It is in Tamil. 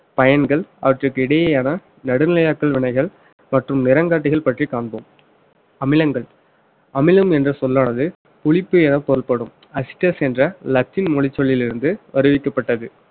பயன்கள் அவற்றுக்கு இடையேயான நடுநிலையாக்கள் வினைகள் மற்றும் நிறங்காட்டிகள் பற்றி காண்போம் அமிலங்கள் அமிலம் என்ற சொல்லானது புளிப்பு என பொருள்படும் அஸ்டஸ் என்ற லத்தின் மொழிச் சொல்லிலிருந்து அறிவிக்கப்பட்டது